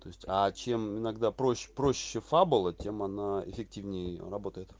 то есть а чем иногда проще проще фабула тем она эффективнее работает